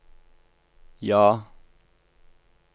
ja